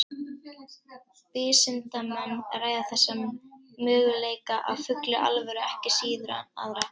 Vísindamenn ræða þessa möguleika af fullri alvöru ekki síður en aðra.